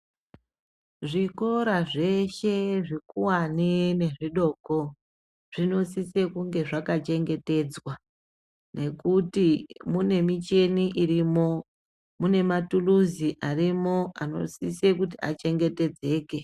Zvikora zveshe zvikuwani nezvidoko zvinosise kunge zvakachengetedzwa ngekuti munemicheni irimo, mune maturuzi arimo anosise kuti achengetedzeke.